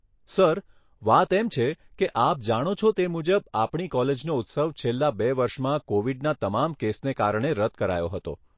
Sir, વાત એમ છે કે આપ જાણો છો તે મુજબ આપણી કોલેજનો ઉત્સવ છેલ્લાં બે વર્ષમાં કોવીડના તમામ કેસને કારણે રદ કરાયો હતો.